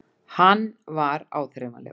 Hann var áþreifanlegur.